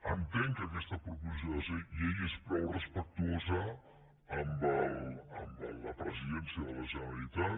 entenc que aquesta proposició de llei és prou respectuosa amb la presidència de la generalitat